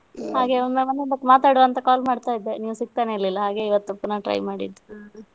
ಹಾಗೆ ಒಮ್ಮೊಮ್ಮೆ ಮಾತಾಡುವ ಅಂತ ಹಾಗೆ call ಮಾಡ್ತಾ ಇದ್ದೆ ಹಾಗೆ ನೀವು ಸಿಗ್ತಾನೇ ಇರ್ಲಿಲ್ಲ ಹಾಗೆ ಇವತ್ತು ಪುನಃ try ಮಾಡಿದ್ದು.